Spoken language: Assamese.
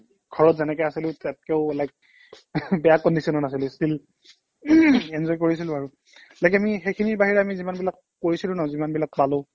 ঘৰত যেনেকে আছিলো তাতকেও অলপ like বেয়া condition ত আছিলো still enjoy কৰিছিলো আৰু like আমি সেইখিনিৰ বাহিৰে যিমানবিলাক কৰিছিলো ন যিমানবিলাক খালো